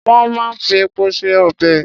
Wón máa ń fi epo se ọbè.